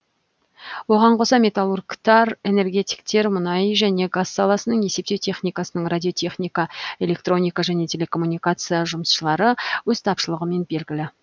оған қоса металлургтар энергетиктер мұнай және газ саласының есептеу техникасының радиотехника электроника және телекоммуникация жұмысшылары өз тапшылығымен белгілі